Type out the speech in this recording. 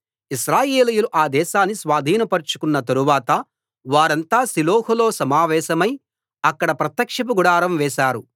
ఇశ్రాయేలీయులు ఆ దేశాన్ని స్వాధీనపరచుకున్న తరువాత వారంతా షిలోహులో సమావేశమై అక్కడ ప్రత్యక్షపు గుడారం వేశారు